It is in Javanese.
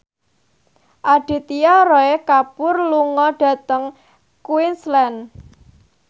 Aditya Roy Kapoor lunga dhateng Queensland